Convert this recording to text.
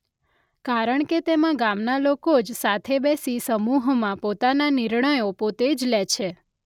કારણકે તેમાં ગામના લોકો જ સાથે બેસી સમૂહમાં પોતાના નિર્ણયો પોતે જ લે છે.